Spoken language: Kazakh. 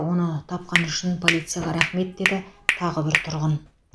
оны тапқаны үшін полицияға рахмет деді тағы бір тұрғын